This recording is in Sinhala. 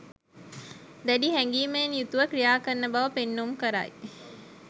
දැඩි හැඟීමෙන් යුතුව ක්‍රියා කරන බව පෙන්නුම් කරයි.